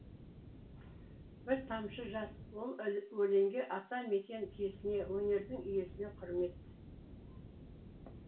бір тамшы жас ол өлеңге ата мекен киесіне өнердің иесіне құрмет